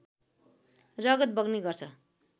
रगत बग्ने गर्छ